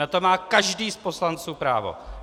Na to má každý z poslanců právo.